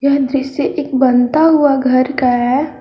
यह दृश्य एक बनता हुआ घर का है।